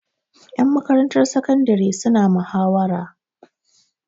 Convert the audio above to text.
Ƴan makarantar sakandare suna muhawara.